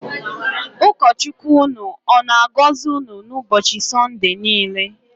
Ụkọ Chukwu ụnụ ọ na-agọzi unu n'ụbọchị Sọnde niile.